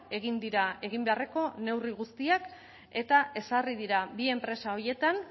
egin dira egin beharreko neurri guztiak eta ezarri dira bi enpresa horietan